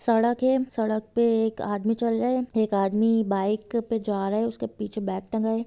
सड़क है सड़क पे एक आदमी चल रहे है एक आदमी बाइक पे जा रहा है उसके पीछे बेग टंगा है।